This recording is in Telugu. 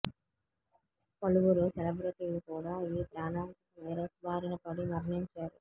పలువురు సెల్రబిటీలు కూడా ఈ ప్రాణాంతక వైరస్ బారిన పడి మరణించారు